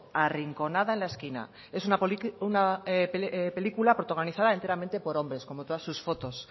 arrinconada en la esquina es una película protagonizada enteramente por hombres como todas sus fotos